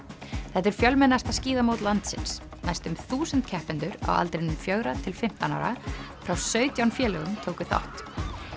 þetta er fjölmennasta skíðamót landsins næstum þúsund keppendur á aldrinum fjögurra til fimmtán ára frá sautján félögum tóku þátt